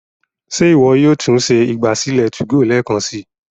Ṣe iwọ yóò tún ṣe ìgbàsílẹ̀ 2go lẹẹkansi?